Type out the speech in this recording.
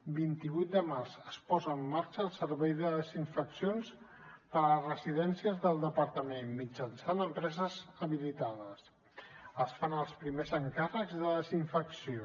vint vuit de març es posa en marxa el servei de desinfeccions per a residències del departament mitjançant empreses habilitades es fan els primers encàrrecs de desinfecció